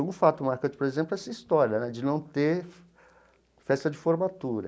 Um fato marcante, por exemplo, é essa história né de não ter festa de formatura.